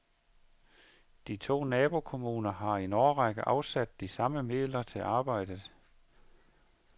De to nabokommuner har i en årrække afsat de samme midler til arbejdet.